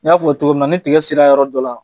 N y'a fɔ cogo min na, ni tigɛ sela yɔrɔ dɔ la